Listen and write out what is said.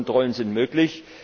Kontrollen sind möglich.